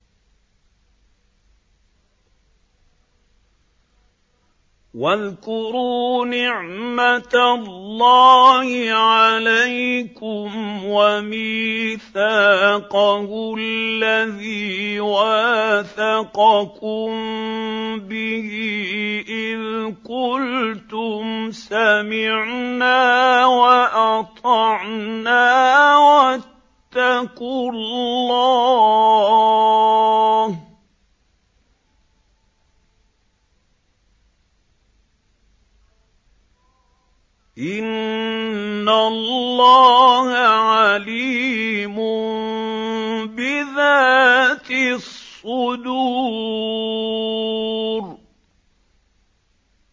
وَاذْكُرُوا نِعْمَةَ اللَّهِ عَلَيْكُمْ وَمِيثَاقَهُ الَّذِي وَاثَقَكُم بِهِ إِذْ قُلْتُمْ سَمِعْنَا وَأَطَعْنَا ۖ وَاتَّقُوا اللَّهَ ۚ إِنَّ اللَّهَ عَلِيمٌ بِذَاتِ الصُّدُورِ